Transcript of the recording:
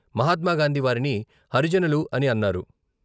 మహాత్మాగాంధీ వారిని హరిజనులు అని అన్నారు.